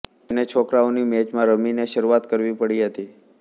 તેમને છોકરાઓની મૅચોમાં રમીને શરૂઆત કરવી પડી હતી